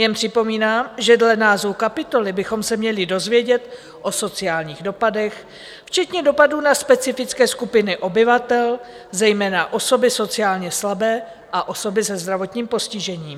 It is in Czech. Jen připomínám, že dle názvu kapitoly bychom se měli dozvědět o sociálních dopadech, včetně dopadů na specifické skupiny obyvatel, zejména osoby sociálně slabé a osoby se zdravotním postižením.